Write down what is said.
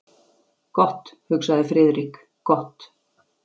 Gott, hugsaði Friðrik, gott.